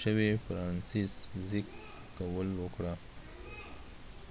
شوي فرانسزیک کوول وکړه